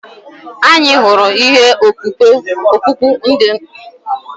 Anyị hụrụ ihe ọkpụkpụ ọdịnala n'ogige ntụrụndụ ọdịnala ahụ.